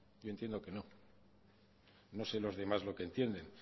yo entiendo que no no sé los demás lo que entienden